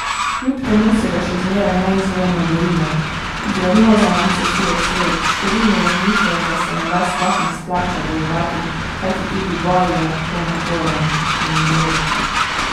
Kljub temu se ga še zmeraj neizmerno bojimo, diagnoza nam sesuje svet, številni razmišljajo, da se morda sploh ne splača bojevati, kajti tudi boj je lahko naporen in boleč ...